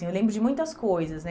Eu lembro de muitas coisas né.